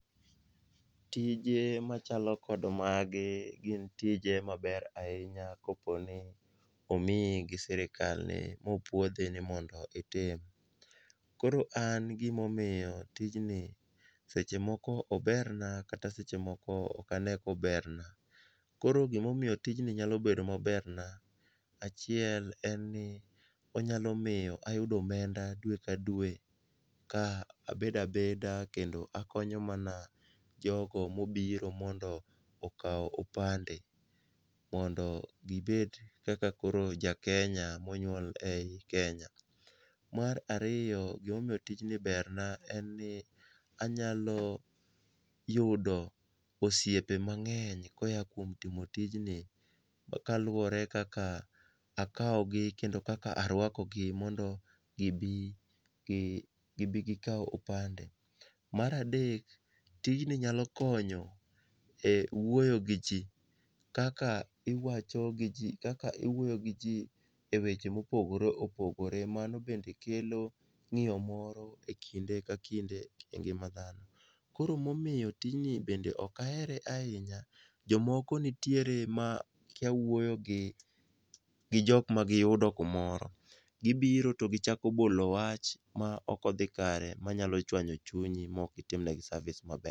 Tije machalo kod magi gin tije maber ahinya ka oponi omiyigi gi sirikalni mopwodhi ni mondo itim. Koro an gima omiyo tijni seche moko oberna kata sechemoko ok ane koberna . Koro gimomiyo tijni nyalo bedo maberna, achiel en ni onyalo miyo ayudo omenda dwe ka dwe ka abedabeda kendo akonyo mana jogo mobiro mondo okaw opande mondo koro gibed kaka jakenya monywol ei Kenya. Mar ariyo, gimomiyo tijni berna en ni anyalo yudo osiepe maber koya kuom timo tijni kaluwore kaka akawogi kendo kaka arwakogi mondo gibi, gibi gikaw opande. Mar adek, tijni nyalo konyo e wuoyo gi ji kaka iwacho gi ji, kaka iwuoyo gi ji e weche mopogoreopogore . Mano bende kelo ng'iyo moro e kinde ka kinde e ngima dhano. Koro momiyo tijni be ok ahere ahinya ,jomoko nitiere ma kiya wuoyo gi jok ma giyudo kumoro. Gibiro to gichako bolo wach ma ok odhi kare manyalo chwanyo chunyi ma ok itim negi service maber.